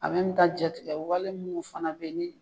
jatigɛ wale munnu fana bɛ ye ni.